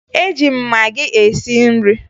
Eji m magị esi nri